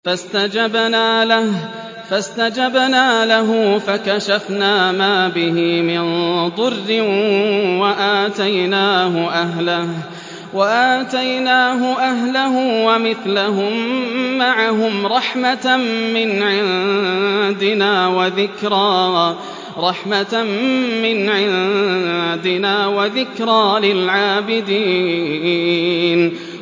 فَاسْتَجَبْنَا لَهُ فَكَشَفْنَا مَا بِهِ مِن ضُرٍّ ۖ وَآتَيْنَاهُ أَهْلَهُ وَمِثْلَهُم مَّعَهُمْ رَحْمَةً مِّنْ عِندِنَا وَذِكْرَىٰ لِلْعَابِدِينَ